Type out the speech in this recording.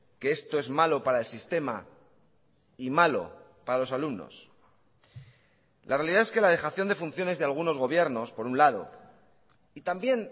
que esto es malo para el sistema y malo para los alumnos la realidad es que la dejación de funciones de algunos gobiernos por un lado y también